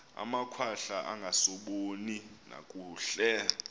amakhwahla angasaboni nakakuhle